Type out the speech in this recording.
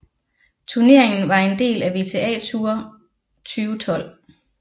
Turneringen var en del af WTA Tour 2012